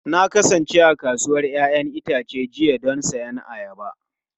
Na kasance a kasuwar 'ya'yan itace jiya don siyan ayaba.